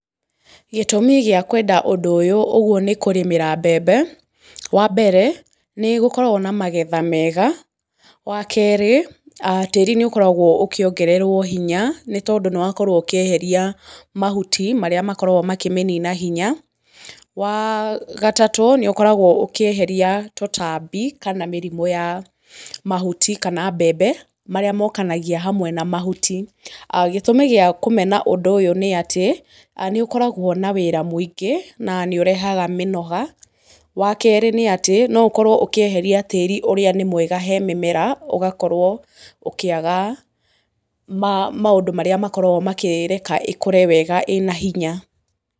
Gĩtũmi gĩa kwenda ũdũ ũyũ ũguo nĩ kũrĩmĩra mbembe, wa mbere, nĩ gũkoragwo na magetha mega, wa kerĩ, tĩĩri nĩ ũkoragwo ũkĩongererwo hinya nĩ tondũ nĩ wakorwo ũkĩeheria mahuti marĩa makoragwo makĩmĩnina hinya, wa gatatũ, nĩ ũkoragwo ũkĩeheria tũtambi kana mĩrimũ ya mahuti ka mbembe marĩa mokanagia hamwe na mahuti. Gĩtũmi gĩa kũmena ũndũ ũyũ ni atĩ, nĩ ũkoragwo na wĩra mũingĩ, na nĩ ũrehaga mĩnoga, wa kerĩ nĩ atĩ, no ũkorwo ũkĩeheria tĩĩri ũrĩa nĩ mwega he mĩmera, ũgakorwo ũkĩaga maũndũ marĩa makoragwo makĩreka ĩkũre wega ĩna hinya.